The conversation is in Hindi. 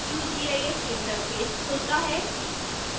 qgis इंटरफेस खुलता है